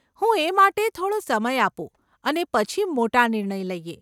હું એ માટે થોડો સમય આપું અને પછી મોટા નિર્ણય લઈએ.